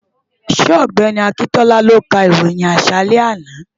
Ṣé ọ̀gbẹ́ni Akíntọ́lá ló ka ìròyìn àṣálẹ́ àná?